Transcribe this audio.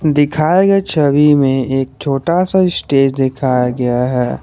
दिखाए गए छवि में एक छोटा सा स्टेज दिखाया गया है।